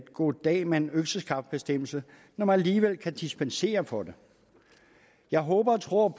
goddag mand økseskaft bestemmelse når man alligevel kan dispensere fra den jeg håber og tror